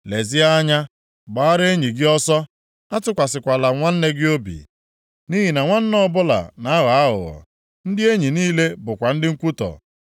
“Lezie anya, gbaara enyi gị ọsọ. Atụkwasịkwala nwanne gị obi. Nʼihi na nwanne ọbụla na-aghọ aghụghọ. Ndị enyi niile bụkwa ndị nkwutọ.